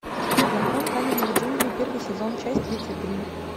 закон каменных джунглей первый сезон часть тридцать три